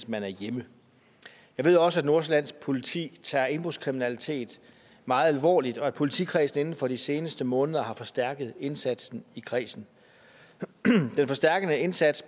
man er hjemme jeg ved også at nordsjællands politi tager indbrudskriminalitet meget alvorligt og at politikredsen inden for de seneste måneder har forstærket indsatsen i kredsen den forstærkede indsats